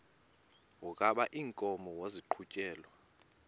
wokaba iinkomo maziqhutyelwe